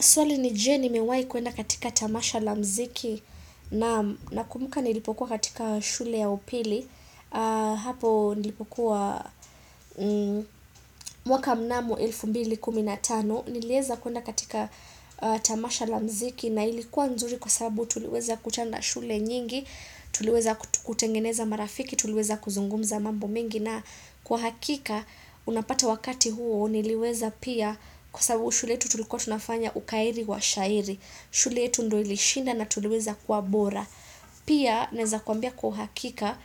Swali ni je nimewahi kuenda katika tamasha la muziki naam, nakumbuka nilipokuwa katika shule ya upili. Hapo nilipokuwa mwaka mnamo elfu mbili kumi na tano. Niliweza kuenda katika tamasha la muziki na ilikuwa nzuri kwa sababu tuliweza kukutana na shule nyingi, tuliweza kutengeneza marafiki, tuliweza kuzungumza mambo mingi. Na kwa hakika, unapata wakati huo, niliweza pia kwa sababu shule yetu tulikuwa tunafanya ukairi wa shairi. Shule yetu ndio ilishinda na tuliweza kuwa bora. Pia, naweza kuambia kwa uhakika,